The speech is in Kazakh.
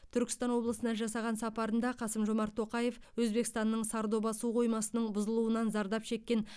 түркістан облысына жасаған сапарында қасым жомарт тоқаев өзбекстанның сардоба су қоймасының бұзылуынан зардап шеккен